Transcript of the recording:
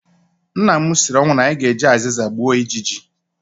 Nna m siri ọnwụ na anyị ga-eji azịza gbuo ijiji